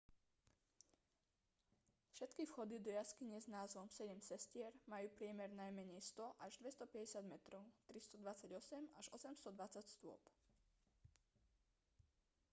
všetky vchody do jaskyne s názvom sedem sestier majú priemer najmenej 100 až 250 metrov 328 až 820 stôp